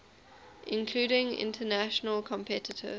including international competitors